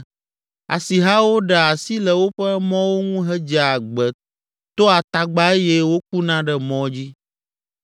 Asihawo ɖea asi le woƒe mɔwo ŋu hedzea gbe toa tagba eye wokuna ɖe mɔ dzi.